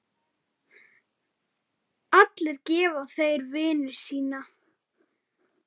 Allir gefa þeir vinnu sína.